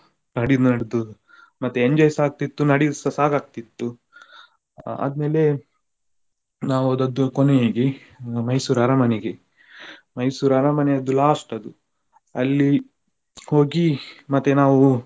ನಡೆಯುದು ನಡ್ದು ಮತ್ತೆ enjoy ಸ ಆಗ್ತಿತ್ತು, ನಡೆಯುದ್ಸ ಸಾಕ್ ಆಗ್ತಿತ್ತು. ಆದ್ಮೇಲೆ ನಾವು ಹೋದದ್ದು ಕೊನೆಗೆ Mysore ಅರಮನೆಗೆ. Mysore ಅರಮನೆಯದ್ದು last ಅದು ಅಲ್ಲಿ ಹೋಗಿ ಮತ್ತೆ ನಾವು.